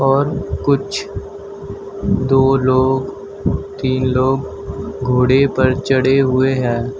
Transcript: और कुछ दो लोग तीन लोग घोड़े पर चढ़े हुए हैं।